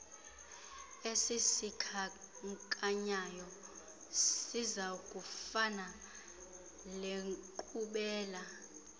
esizikhankanyayo sizakufaka lenkqubela